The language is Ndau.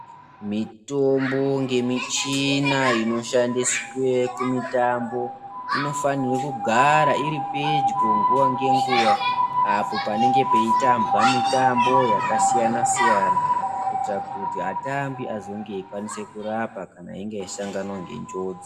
Mitombo ngemichina inoshandiswe kumitambo inofane kugara iri pedyo nguva ngenguwa apo panenge peitambwa mitambo yakasiyana-siyana kuitira kuti atambi azonge eikwanise kurapa kana einge asangana nenjodzi.